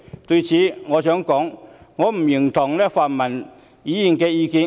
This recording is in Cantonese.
對此，我想說，我不認同泛民議員的意見。